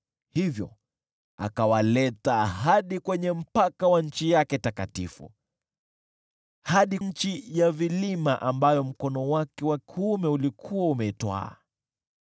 Hivyo akawaleta hadi kwenye mpaka wa nchi yake takatifu, hadi nchi ya vilima ambayo mkono wake wa kuume ulikuwa umeitwaa.